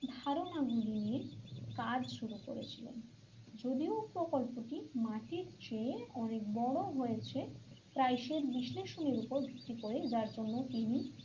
ধারণা গুলি নিয়ে কাজ শুরু করেছিলেন যদিও প্রকল্পটি মাটির চেয়ে অনেক বড় হয়েছে বিশ্লেষনের উপর ভিত্তি করে যার জন্য তিনি,